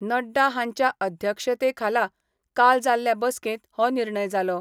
नड्डा हांच्या अध्यक्षतेखाला काल जाल्ले बसकेत हो निर्णय जालो.